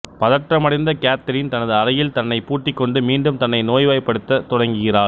பதற்றமடைந்த Catherine தனது அறையில் தன்னைப் பூட்டிக் கொண்டு மீண்டும் தன்னை நோய்வாய்ப்படுத்தத் தொடங்குகிறாள்